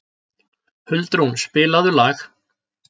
Huldrún, spilaðu lag.